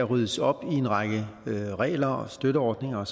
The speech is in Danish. ryddes op i en række regler støtteordninger